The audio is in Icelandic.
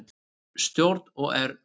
Stjórn OR fundar